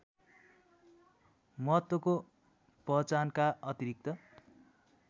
महत्त्वको पहचानका अतिरिक्त